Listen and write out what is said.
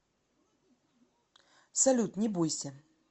салют не бойся